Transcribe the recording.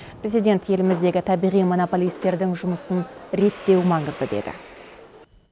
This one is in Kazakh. президент еліміздегі табиғи монополистердің жұмысын реттеу маңызды деді